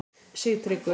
Sigtryggur